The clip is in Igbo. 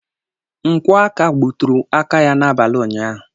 Nkwọ aka gbuturu aka ya n'abalị ụnyaahụ.